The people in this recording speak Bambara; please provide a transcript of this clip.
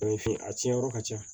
a tiɲɛ yɔrɔ ka ca